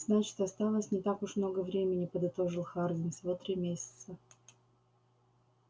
значит осталось не так уж много времени подытожил хардин всего три месяца